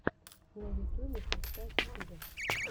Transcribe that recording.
на ютюбе поставь стига